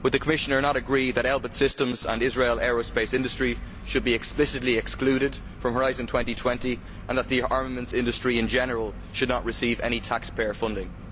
Would the Commissioner not agree that Elbit Systems and Israel Aerospace Industry should be explicitly excluded from Horizon 2020, and that the armaments industry in general should not receive any taxpayer funding?